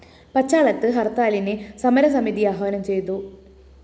പച്ചാളത്ത് ഹര്‍ത്താലിന് സമരസമിതി ആഹ്വാനം ചെയ്തു